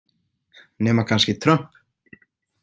Nema kannski Trump.